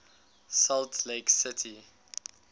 salt lake city